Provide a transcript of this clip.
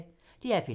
DR P3